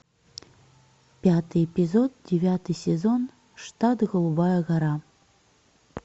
пятый эпизод девятый сезон штат голубая гора